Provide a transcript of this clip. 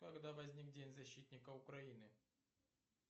когда возник день защитника украины